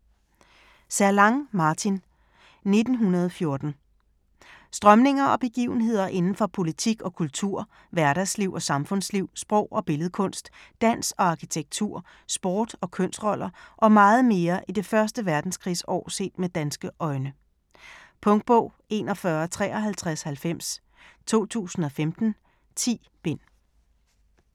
Zerlang, Martin: 1914 Strømninger og begivenheder inden for politik og kultur, hverdagsliv og samfundsliv, sprog og billedkunst, dans og arkitektur, sport og kønsroller og meget mere i det første verdenskrigsår set med danske øjne. Punktbog 415390 2015. 10 bind.